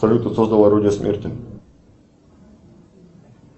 салют кто создал орудие смерти